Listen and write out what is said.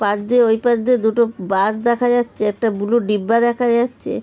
পাশ দিয়ে ওই পাশ দিয়ে দুটো বাশ দেখা যাচ্ছে। একটা ব্লু ডিব্বা দেখা যাচ্ছে।